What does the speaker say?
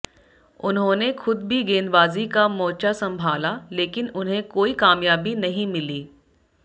उन्होंने खुद भी गेंदबाजी का मोर्चा संभाला लेकिन उन्हें कोई कामयाबी नहीं मिली